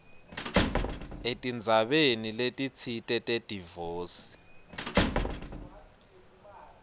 etindzabeni letitsite tedivosi